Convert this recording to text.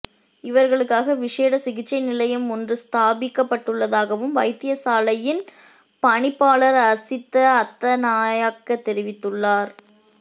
இவர்களுக்காக விசேட சிகிச்சை நிலையம் ஒன்று ஸ்தாபிக்கப்பட்டுள்ளதாகவும் வைத்தியசாலையின் பணிப்பாளர் அசித்த அத்தநாயக்க தெரிவித்துள்ளார்